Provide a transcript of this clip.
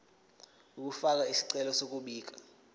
ukufaka isicelo sokubika